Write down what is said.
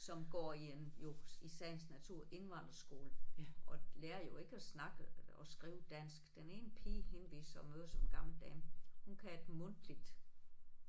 Som går i en jo i sagens natur indvandrerskole og lærer jo ikke at snakke og skrive dansk den ene pige hende vi så møder som gammel dame hun kan et mundtligt